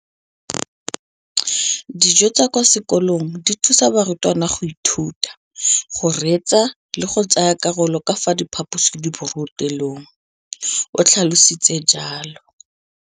Dijo tsa kwa sekolong dithusa barutwana go ithuta, go reetsa le go tsaya karolo ka fa phaposiborutelong, o tlhalositse jalo.